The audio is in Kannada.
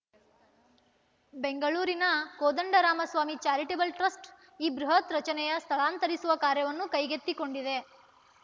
ಬೆಂಗಳೂರಿನ ಕೋದಂಡರಾಮಸ್ವಾಮಿ ಚಾರಿಟೇಬಲ್‌ ಟ್ರಸ್ಟ್‌ ಈ ಬೃಹತ್‌ ರಚನೆಯ ಸ್ಥಳಾಂತರಿಸುವ ಕಾರ್ಯವನ್ನು ಕೈಗೆತ್ತಿಕೊಂಡಿದೆ